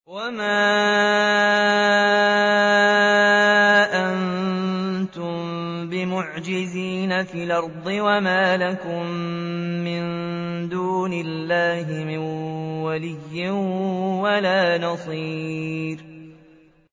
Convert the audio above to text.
وَمَا أَنتُم بِمُعْجِزِينَ فِي الْأَرْضِ ۖ وَمَا لَكُم مِّن دُونِ اللَّهِ مِن وَلِيٍّ وَلَا نَصِيرٍ